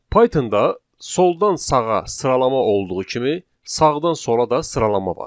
Python-da soldan sağa sıralama olduğu kimi, sağdan sola da sıralama var.